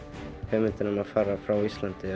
hugmyndin um að fara frá Íslandi